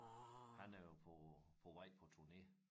Han er jo på på vej på turné